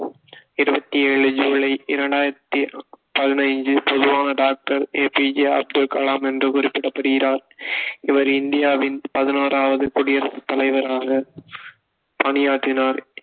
இருபத்து ஏழு சூலை இரண்டாயிரத்தி பதினைஞ்சு பொதுவாக doctor A P J Abdul Kalam என்று குறிப்பிடப்படுகிறார் இவர் இந்தியாவின் பதனோராவது குடியரசு தலைவராக பணியாற்றினார்